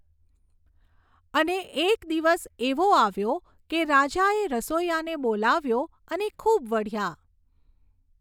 અને એક દિવસ એવો આવ્યો કે રાજાએ રસોઈયાને બોલાવ્યો અને ખૂબ વઢ્યા.